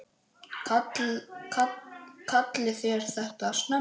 LÁRUS: Kallið þér þetta snemma?